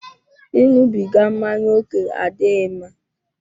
Ịṅụbiga mmáñyá oke adịghị mma